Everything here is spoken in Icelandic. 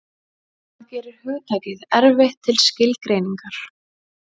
Það gerir hugtakið erfitt til skilgreiningar.